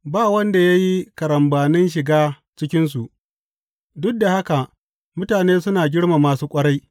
Ba wanda ya yi karambanin shiga cikinsu, duk da haka mutane suna girmama su ƙwarai.